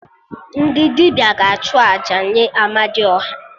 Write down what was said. Ndị dibịa ga-achụ àjà nye Amadiọha